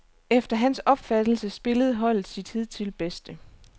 Efter hans opfattelse spillede holdet sit hidtil bedste.